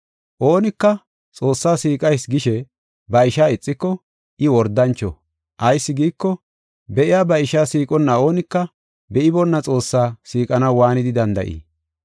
Oonika, “Xoossaa siiqayis” gishe ba ishaa ixiko, I wordancho. Ayis giiko, be7iya ba ishaa siiqonna oonika be7iboona Xoossaa siiqanaw waanidi danda7ii?